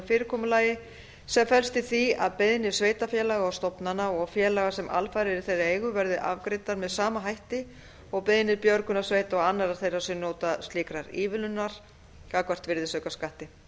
fyrirkomulagi sem felst í því að beiðnir sveitarfélaga og stofnana og félaga sem alfarið eru í þeirra eigu verði afgreiddar með sama hætti og beiðnir björgunarsveita og annarra þeirra sem njóta slíkrar ívilnunar gagnvart virðisaukaskatti